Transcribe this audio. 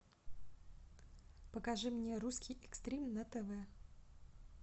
покажи мне русский экстрим на тв